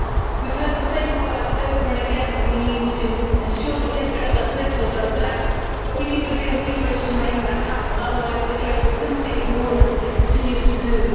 We have heard the same words over and again that we need to ensure that Israel does this or does that, but we need the real leverage to make that happen, otherwise Israel will simply ignore us, as it continues to do.